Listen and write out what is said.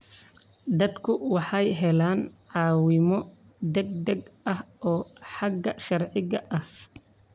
Dadku waxay helaan caawimo degdeg ah oo xagga sharciga ah.